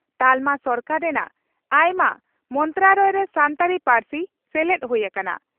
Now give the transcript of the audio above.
ᱛᱟᱞᱢᱟ ᱥᱚᱨᱠᱟ ᱨᱮᱱᱟᱜ ᱟᱭᱢᱟ ᱢᱚᱱᱛᱨᱟᱲᱚᱭᱚ ᱨᱮ ᱥᱟᱱᱛᱟᱲᱤ ᱯᱟᱹᱨᱥᱤ ᱥᱮᱞᱮᱫ ᱦᱩᱭ ᱟᱠᱟᱱᱟ ᱾